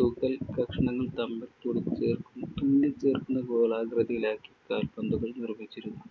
തുകൽക്കഷണങ്ങൾ തമ്മിൽ തുന്നിച്ചേര്‍ക്കു~തുന്നിച്ചേര്‍ക്കുന്നത് പോലെ ആകൃതിയിലാക്കിയാണ് കാൽപ്പന്തുകൾ നിർമ്മിച്ചിരുന്നത്.